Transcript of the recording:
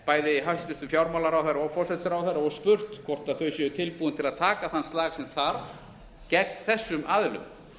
bæði hæstvirtan fjármálaráðherra og forsætisráðherra og spurt hvort þau séu tilbúin til að taka þann slag sem þarf gegn þessum aðilum